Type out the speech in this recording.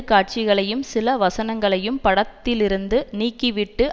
காட்சிகளையும் சில வசனங்களையும படத்திலிருந்து நீக்கிவிட்டு